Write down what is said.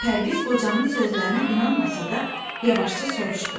Pərviz qocanın sözlərinə inanmasa da, yavaşca soruşdu.